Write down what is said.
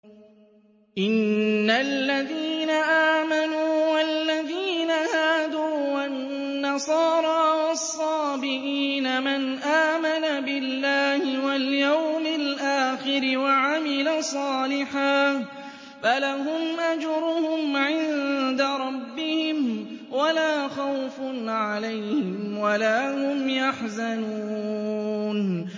إِنَّ الَّذِينَ آمَنُوا وَالَّذِينَ هَادُوا وَالنَّصَارَىٰ وَالصَّابِئِينَ مَنْ آمَنَ بِاللَّهِ وَالْيَوْمِ الْآخِرِ وَعَمِلَ صَالِحًا فَلَهُمْ أَجْرُهُمْ عِندَ رَبِّهِمْ وَلَا خَوْفٌ عَلَيْهِمْ وَلَا هُمْ يَحْزَنُونَ